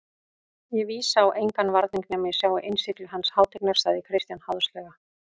Ég vísa á engan varning nema ég sjái innsigli hans hátignar, sagði Christian háðslega.